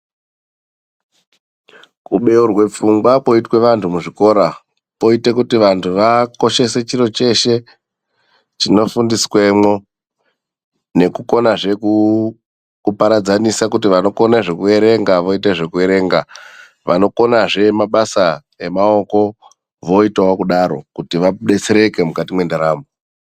Kubeurwe pfungwa koitwe vandu muzvikora koita vandu vakoshese chiro cheshe chinofundiswemwo, nekukonazve kuparadzanisa kuti vanokona zvekuverenga voite zvekuerenga, vanokonawozve mabasa emaoko voitawo kudaro, kuti vadetsereke mukati mwendaramo.